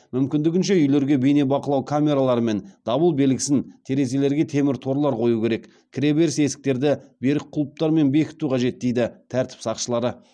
мүмкіндігінше үйлерге бейнебақылау камералары мен дабыл белгісін терезелерге темір торлар қою керек кіреберіс есіктерді берік құлыптармен бекіту қажет дейді тәртіп сақшылары